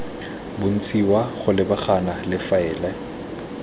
bontshiwa go lebagana le faele